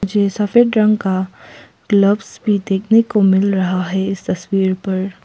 ये सफेद रंग का ग्लव्स भी देखने को मिल रहा है तस्वीर पर।